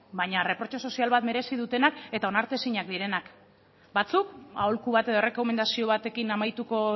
baina reprotse sozial bat merezi dutenak eta onartezinak direnak batzuk aholku bat edo errekomendazio batekin amaituko